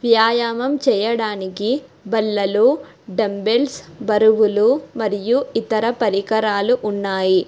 వ్యాయామం చేయడానికి బల్లలు డంబెల్స్ బరువులు మరియు ఇతర పరికరాలు ఉన్నాయి.